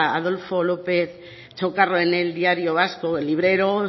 adolfo lópez chocarro en el diario vasco el librero